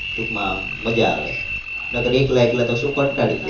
ટુંકમાં આમ મજા આવે. નકર એકલા એકલા તો શું કંટાળી જાય.